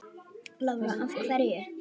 Lára: Af hverju?